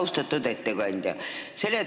Austatud ettekandja!